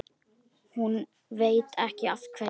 Hún veit ekki af hverju.